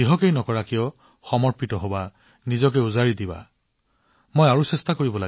আপুনি যি কাম কৰে সমৰ্পিত হওক আপোনাৰ সৰ্বশ্ৰেষ্ঠ প্ৰয়াস কৰক